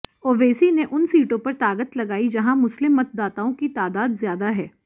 ओवैसी ने उन सीटों पर ताकत लगाई जहां मुस्लिम मतदाताओं की तादाद ज्यादा है